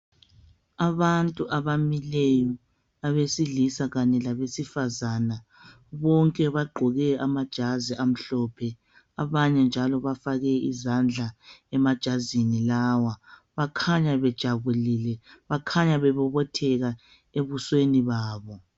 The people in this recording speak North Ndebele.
Abantu abamileyo abesilisa Kanye labesifazana bonke bagqoke amajazi amhlophe , abanye njalo bafake izandla emajazini lawa, bakhanya bejabulile, bakhanya bebobotheka ebusweni babo.